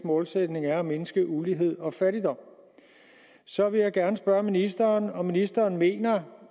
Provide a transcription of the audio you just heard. målsætning er at mindske ulighed og fattigdom så vil jeg gerne spørge ministeren om ministeren mener